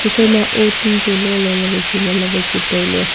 ephai ma ou tun chu lololey wai chu nganley wai chu tailey.